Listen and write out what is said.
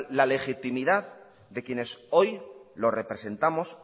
la legitimidad de quienes hoy lo representamos